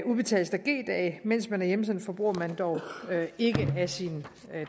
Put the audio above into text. udbetales der g dage mens man er hjemsendt forbruger man dog ikke af sin